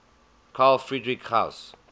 carl friedrich gauss